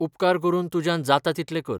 उपकार करून तुज्यान जाता तितलें कर.